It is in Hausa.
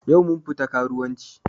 Yau mun fita karuwanci